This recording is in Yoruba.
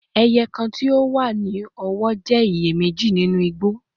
Eye kan ti o wa ni ọwọ jẹ iye meji ninu igbo